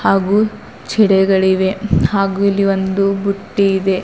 ಹಾಗು ಚಿಡೆಗಳು ಇವೆ ಹಾಗು ಇಲ್ಲಿ ಒಂದು ಬುಟ್ಟಿ ಇದೆ.